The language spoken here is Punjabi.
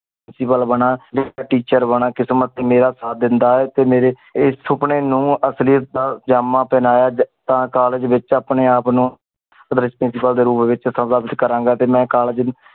principal ਬਣਾ ਟੀ teacher ਬਣਾ ਕਿਸਮਤ ਨੇ ਮੇਰਾ ਸਾਥ ਦਿੰਦਾ ਆਏ ਤੇ ਮੇਰੇ ਸੁਪਨੇ ਨੂ ਅਸਲਿਯਤ ਦਾ ਜਾਮਾ ਪਹਨਾਯ ਤਾ ਕਾੱਲੇਜ ਵਿਚ ਅਪਨੇ ਆਪ ਨੂ principal ਦੇ ਰੂਪ ਵਿਚ ਕਰਾਂਗਾ ਤੇ ਮੈਂ ਕਾੱਲੇਜ ਨੂੰ